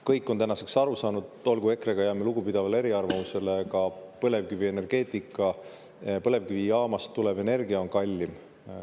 Kõik on tänaseks aru saanud – olgu, EKRE-ga jääme lugupidavale eriarvamusele –, et põlevkivijaamast tulev energia on kallim.